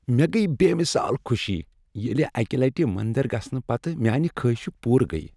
مےٚ گٔیۍ بے مثال خوشی ییٚلہ اكہِ لٹہِ مندر گژھنہٕ پتہٕ میانِہ خٲہشہٕ پوٗرٕ گٔیہ۔